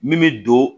Min bɛ don